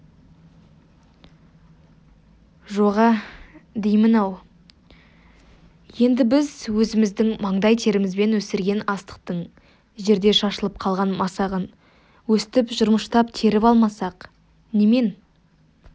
жоға деймін-ау енді біз өзіміздің маңдай терімізбен өсірген астықтың жерде шашылып қалған масағын өстіп жырмыштап теріп алмасақ немен